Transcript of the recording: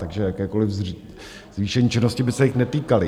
Takže jakákoliv zvýšení činnosti by se jich netýkaly.